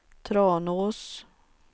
Tranås